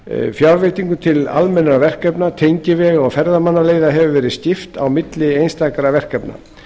fjárveitingum til almennra verkefna tengivega og ferðamannaleiða hefur verið skipt á milli einstakra verkefna